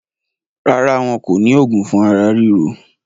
Rárá, wọn kò ní òògùn fún ara ríro.